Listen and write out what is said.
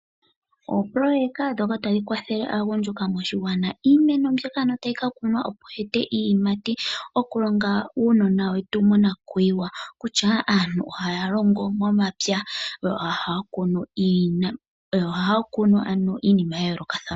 Opoloyeka ndhoka tadhi kwathele aagundjuka moshigwana , iimeno mbyoka ano tayi ka kunwa opo yi ete iiyimati okulonga uunona wetu monakuyiwa kutya aantu ohayaongo momapya yo ohaya kunu ano iinima yayoolokathana.